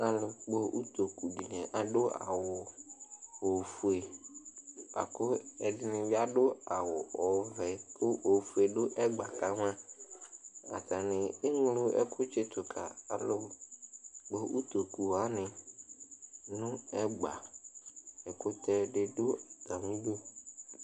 Alʋkpɔ utoku adʋ awʋ ofue lakʋ ɛdini bi adʋ awʋ ɔvɛ kʋ ofue dʋ ɛgbakama atani eŋlo ɛkʋ tsitʋ ka alʋkpɔ ʋtokʋ wani nʋ ɛgba ɛkʋtɛdi dʋ atami idʋ